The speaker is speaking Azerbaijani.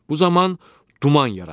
Bu zaman duman yaranır.